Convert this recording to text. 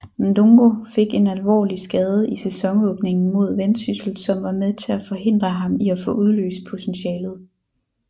Ndungu fik en alvorlig skade i sæsonåbningen mod Vendsyssel som var med til at forhindre ham i få udløst potentialitet